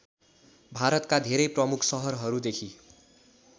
भारतका धेरै प्रमुख सहरहरूदेखि